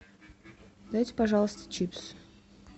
дайте пожалуйста чипсы